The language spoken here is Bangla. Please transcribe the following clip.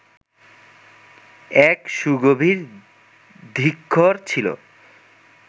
এক সুগভীর ধিক্ষর ছিল।